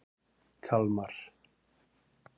Kalmar